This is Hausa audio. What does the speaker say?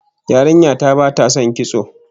Yarinya ta bata son kitso